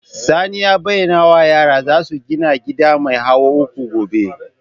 Sani ya bayyana wa yara za su gina gida mai hawa uku gobe